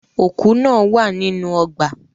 Òkú náà wà nínú ọgbà.